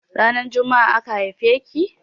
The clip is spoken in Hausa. Ranar jumma'a aka haife ki?